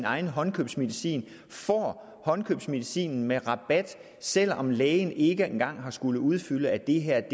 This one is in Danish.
egen håndkøbsmedicin får håndkøbsmedicinen med rabat selv om lægen ikke engang har skullet udfylde at det her